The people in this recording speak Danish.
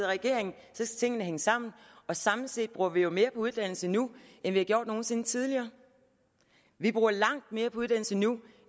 regering skal tingene hænge sammen og samlet set bruger vi jo mere på uddannelse nu end vi har gjort nogen sinde tidligere vi bruger langt mere på uddannelse nu